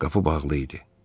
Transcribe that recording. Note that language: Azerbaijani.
Qapı bağlı idi.